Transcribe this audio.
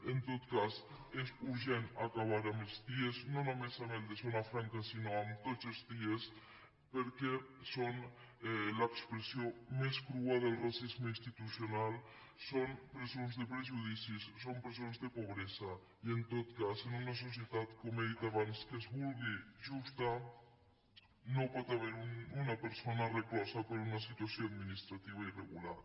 en tot cas és urgent acabar amb els cie no només amb el de zona franca sinó amb tots els cie perquè són l’expressió més crua del racisme institucional són presons de prejudicis són presons de pobresa i en tot cas en una societat com he dit abans que es vulgui justa no pot haver·hi una persona reclosa per una situació administrativa irre·gular